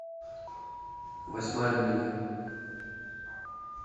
восьмая миля